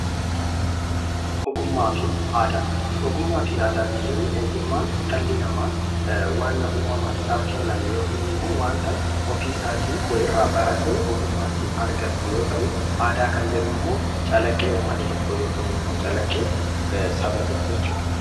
Ogummaa fi aadaa kan jennu ogummaan dhalli namaa waan uumamaan isaaf kenname yookiin immoo waanta ofiisaatii wayirraa baratee ogummaa ittiin argatu yoo ta'u, aadaa kan jennu immoo calaqqee uummata tokkoo yookiin immoo calaqqee saba tokkoo jechuudha.